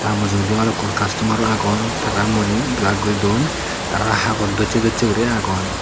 ta mujungedi balukkun castomar o agon tara muoni belar guridon tara hagoj dossey dossey guri agon.